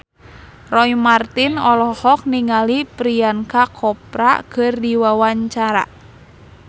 Roy Marten olohok ningali Priyanka Chopra keur diwawancara